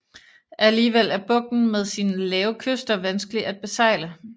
Alligevel er bugten med sine lave kyster vanskelig at besejle